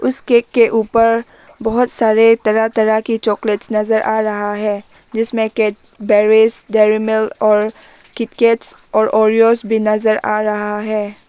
इस केक के ऊपर बहोत सारे तरह तरह की चॉकलेट्स नजर आ रहा है जिसमें डेयरीमिल्क किटकैट ओरियो भी नजर आ रहा है।